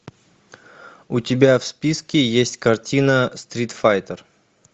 у тебя в списке есть картина стрит файтер